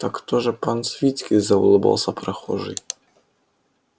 так то же пан свицкий заулыбался прохожий